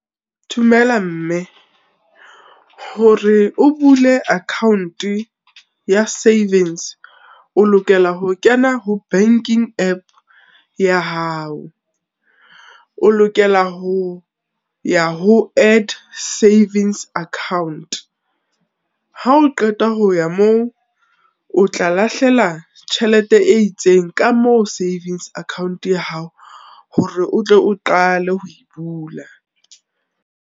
Dumela mme, hore o bule account-e ya savings, o lokela ho kena ho banking app ya hao, o lokela ho ya ho add savings account, ha o qeta ho ya moo, o tla lahlela tjhelete e itseng ka moo savings account ya hao hore o tle o qale ho e bula.